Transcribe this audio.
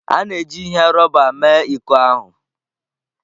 A na-eji ihe rọba mee iko ahụ.